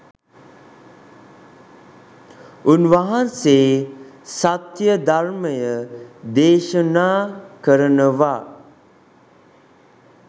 උන්වහන්සේ සත්‍ය ධර්මය දේශනා කරනවා